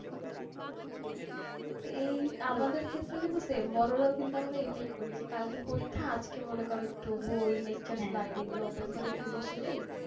এই আমাদের ক্ষেত্রেও কিন্তু same বড়োরাও কিন্তু আমরা এটাই করি যে কালকে পরীক্ষা আজকে মনে কর একটু বই lecture file এগুলো open করে একটু বসে যাই।